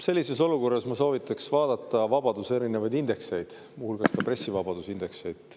Sellises olukorras ma soovitan vaadata erinevaid vabaduse indekseid, muu hulgas ka pressivabaduse indeksit.